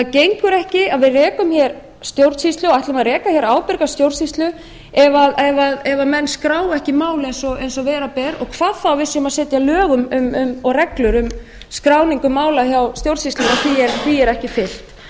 gengur ekki að við rekum hér stjórnsýslu og ætlum að reka hér ábyrga stjórnsýslu ef menn skrá ekki mál eins og vera ber og hvað þá að við séum að setja lög og gengur um skráningu mála hjá stjórnsýslunni og því er ekki fylgt